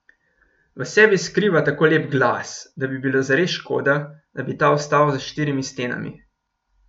V sebi skriva tako lep glas, da bi bilo zares škoda, da bi ta ostal za štirimi stenami.